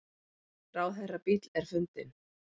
Ráðherrabíll er fundinn